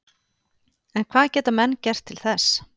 En hvað geta menn gert til þess?